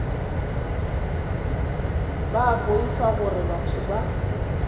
ba boifa gore batho ba